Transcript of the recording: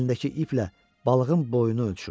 Əlindəki iplə balığın boyunu ölçürdü.